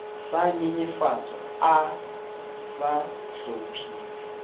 sa nyenyefatswa a sa hlomphiwe